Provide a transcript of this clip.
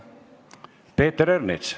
Peeter Ernits.